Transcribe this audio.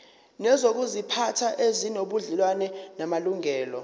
nezokuziphatha ezinobudlelwano namalungelo